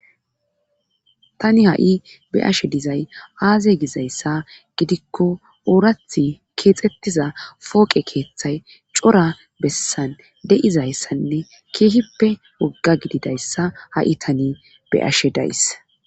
tani ha7i be ashe dizay aaze gizayssa gidikko oorath keexxettiza pooqe keeththay cora bessan deizayssanne keehippe wogga gididayssa ha7i tani beashe daysa